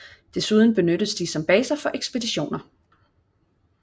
Desuden benyttes de som baser for ekspeditioner